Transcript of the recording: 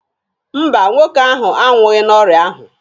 Mba, nwoke ahụ anwụghị n'ọrịa ahụ.